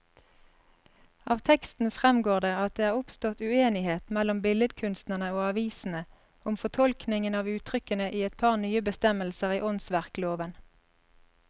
Av teksten fremgår det at det er oppstått uenighet mellom billedkunstnerne og avisene om fortolkningen av uttrykkene i et par nye bestemmelser i åndsverkloven.